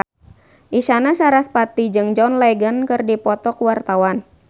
Isyana Sarasvati jeung John Legend keur dipoto ku wartawan